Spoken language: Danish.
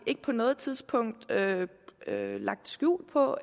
ikke på noget tidspunkt lagt skjul på